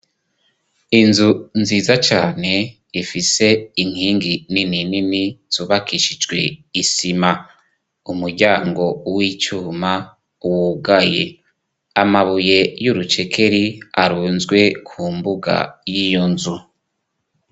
Inzu nziza cane ifise inkingi nininini zubakishijwe isima. Umuryango w'icuma wugaye. Amabuye y'urucekeri arunzwe ku mbuga y'iyo nzu.